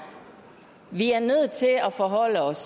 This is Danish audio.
vi er nødt til at forholde os